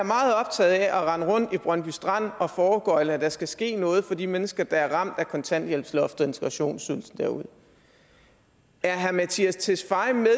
optaget af at rende rundt i brøndby strand og foregøgle at der skal ske noget for de mennesker der er ramt af kontanthjælpsloftet og integrationsydelsen derude er herre mattias tesfaye